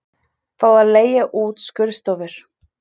Fá að leigja út skurðstofur